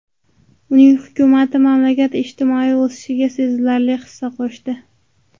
Uning hukumati mamlakat ijtimoiy o‘sishiga sezilarli hissa qo‘shdi.